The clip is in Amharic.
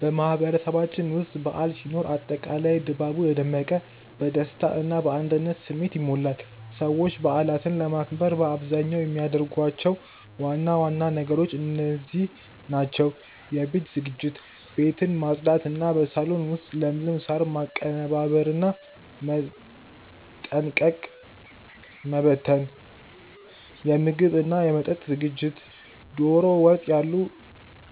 በማህበረሰባችን ውስጥ በዓል ሲኖር አጠቃላይ ድባቡ የደመቀ፣ በደስታ እና በአንድነት ስሜት ይሞላል። ሰዎች በዓላትን ለማክበር በአብዛኛው የሚያደርጓቸው ዋና ዋና ነገሮች እንደዚህ ናቸው፦ የቤት ዝግጅት፦ ቤትን ማጽዳት እና በሳሎን ውስጥ ለምለም ሳር ማቀነባበርና ጠንቀቀ መበተን። የምግብ እና መጠጥ ዝግጅት፦ ዶሮ ወጥ ያሉ